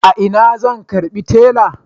A ina zan karbi tela?